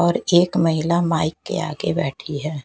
और एक महिला माइक के आगे बैठी है।